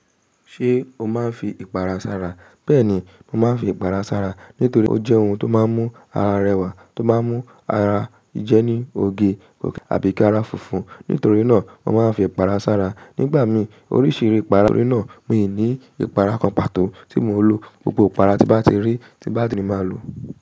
Ṣé o máa ń fi ìpara sára? Bẹ́ẹ̀ni, mo máa ń fi ìpara sára nítorí ó jẹ́ ohun tó máa ń mú ara rẹwà, tó máa ń mú ara jẹ́ ní oge òkè àbí kí ara funfun. Nítorí náà, mo máa ń fi ìpara sára. Nígbà mí oríṣìírí ìpara, nítorí náà mi ò ní ìpara kan pàtó tí mo ń lò. Gbogbo ìpara tí bá ti rí tí bá ti máa lò.